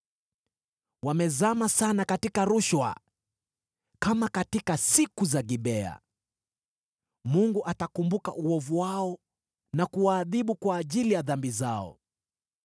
Wamezama sana katika rushwa, kama katika siku za Gibea. Mungu atakumbuka uovu wao na kuwaadhibu kwa ajili ya dhambi zao.